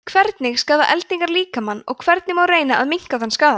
hvernig skaða eldingar líkamann og hvernig má reyna að minnka þann skaða